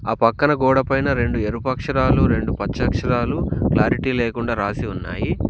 ఆ పక్కన గోడ పైన రెండు ఎరుపు అక్షరాలు రెండు పచ్చ అక్షరాలు క్లారిటీ లేకుండా రాసి ఉన్నాయి.